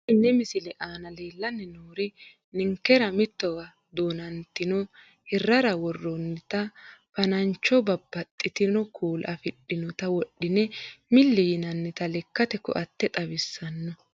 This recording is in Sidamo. Xa tenne missile aana leellanni noori ninkera mittowa duunnoonnita hirrara worroonnita fa'nancho babbaxxino kuula afidhinota wodhine milli yinannita lekkate koatte xawissanno.